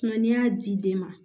n'i y'a di den ma